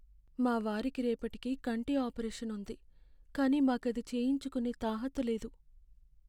మా వారికి రేపటికి కంటి ఆపరేషను ఉంది, కానీ మాకది చేయించుకునే తాహతు లేదు.